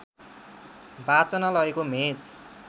वाचनालयको match